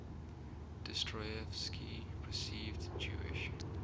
dostoyevsky perceived jewish